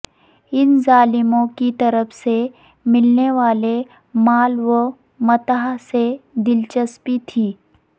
ان ظالموں کی طرف سے ملنے والے مال و متاع سے دلچسپی تھی